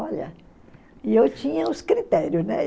Olha... E eu tinha os critérios, né?